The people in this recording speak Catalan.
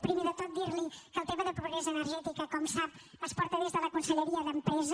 primer de tot dir li que el tema de pobresa energètica com sap es porta des de la conselleria d’empresa